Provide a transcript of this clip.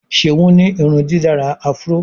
Seun ní irundidalara afro.